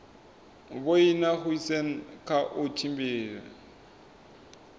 vhoina goosen kha u tshimbidza